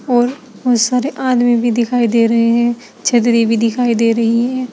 और बहुत सारे आदमी भी दिखाई दे रहे हैं छतरी भी दिखाई दे रही है।